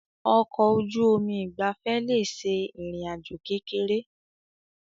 Ọkọ̀ ojú omi ìgbafẹ́ le ṣe ìrìn àjò kékeré.